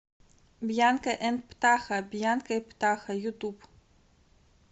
бьянка энд птаха бьянка и птаха ютуб